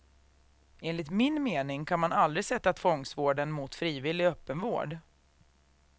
Enligt min mening kan man aldrig sätta tvångsvården mot frivillig öppenvård.